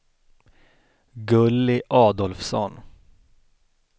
Gulli Adolfsson